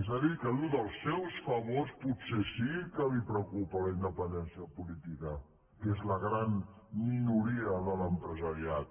és a dir que viu dels seus favors potser sí que li preocupa la independència política que és la gran minoria de l’empresariat